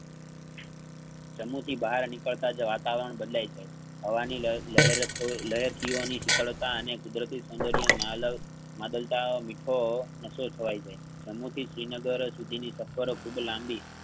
જમ્મુ થી બહાર નીકળતા જ વાતાવરણ બદલાય જાય છે. હવાની લહે~લહેર~લહેરકીઓ ની શીતળતા અને કુદરતી સૌંદર્ય નાય લૌટ માંડલતાનો મીઠો નશો છવાય જાય જમ્મુ થી શ્રીનગર સુધીની સફર ખુબ લાંબી